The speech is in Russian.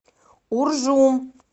уржум